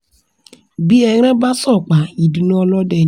bí ẹran bá sọpá ìdùnnú ọlọ́dẹ ni